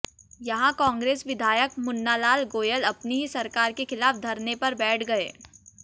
यहां कांग्रेस विधायक मुन्नालाल गोयल अपनी ही सरकार के खिलाफ धरने पर बैठ गए